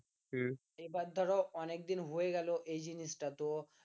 এবার ধরো অনেকদিন হয়ে গেল এই জিনিসটা তো